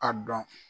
A dɔn